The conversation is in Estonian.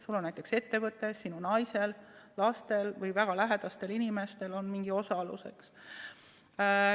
Näiteks on sul ettevõte, sinu naisel, lastel või väga lähedastel inimestel on mingi osalus.